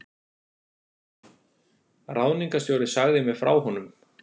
Ráðningarstjóri sagði mér frá honum.